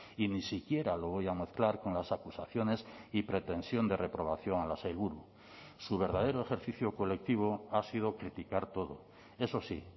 y ni siquiera lo voy a mezclar con las acusaciones y pretensión de reprobación a la sailburu su verdadero ejercicio colectivo ha sido criticar todo eso sí